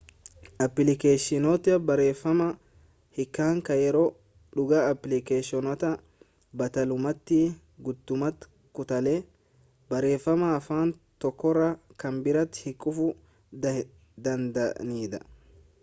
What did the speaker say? appilikeeshinoota barreeffama hiikan kan yeroo-dhugaa-applikeeshinoota battalumatti guutummaa kutaalee barreeffamaa afaan tokkorraa kan biraatti hiikuuf danda'aniidha